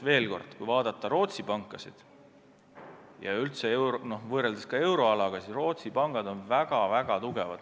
Veel kord: kui vaadata Rootsi pankasid ja võrrelda neid kogu euroalaga, siis Rootsi pangad on väga-väga tugevad.